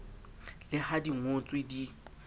le ha di ngotswe di